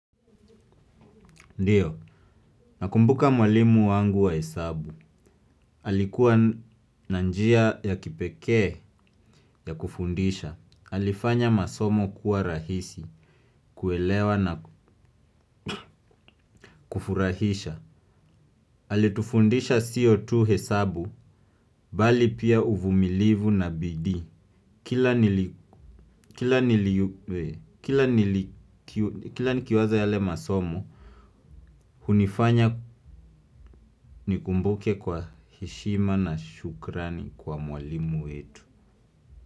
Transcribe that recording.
Ndiyo. Nakumbuka mwalimu wangu wa hesabu. Alikuwa na njia ya kipekee ya kufundisha. Alifanya masomo kuwa rahisi, kuelewa na kufurahisha. Alitufundisha sio tu hesabu, bali pia uvumilivu na bidii. Kila nikiwaza yale masomo hunifanya nikumbuke kwa heshima na shukrani kwa mwalimu wetu.